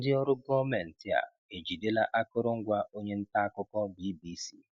Ndị ọrụ gọọmentị a ejidela akụrụngwa onye nta akụkọ BBC